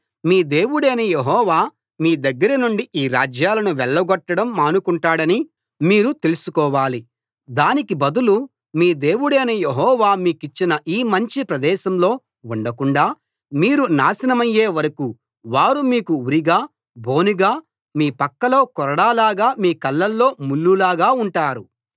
మీ దేవుడైన యెహోవా మీ దగ్గరనుండి ఈ రాజ్యాలను వెళ్ళగొట్టడం మానుకుంటాడని మీరు తెలుసుకోవాలి దానికి బదులు మీ దేవుడైన యెహోవా మీకిచ్చిన యీ మంచి ప్రదేశంలో ఉండకుండా మీరు నాశనమయ్యే వరకూ వారు మీకు ఉరిగా బోనుగా మీపక్కలో కొరడాలాగా మీ కళ్ళలో ముళ్లులాగా ఉంటారు